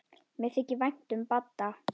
Mér þykir vænt um Badda.